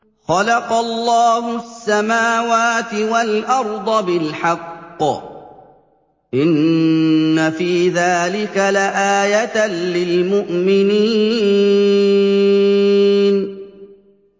خَلَقَ اللَّهُ السَّمَاوَاتِ وَالْأَرْضَ بِالْحَقِّ ۚ إِنَّ فِي ذَٰلِكَ لَآيَةً لِّلْمُؤْمِنِينَ